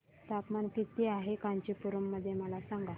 तापमान किती आहे कांचीपुरम मध्ये मला सांगा